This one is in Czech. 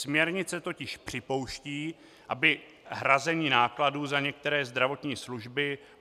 Směrnice totiž připouští, aby hrazení nákladů za některé zdravotní služby